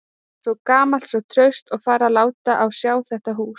Svo gamalt, svo traust, og farið að láta á sjá þetta hús.